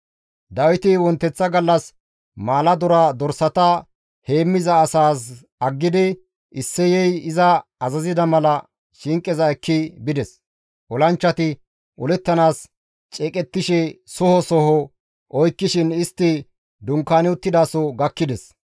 Dawiti wonteththa gallas maaladora dorsata heemmiza asaas aggidi Isseyey iza azazida mala shinqeza ekki bides. Olanchchati olettanaas ceeqettishe soho soho oykkishin istti dunkaani uttidaso gakkides.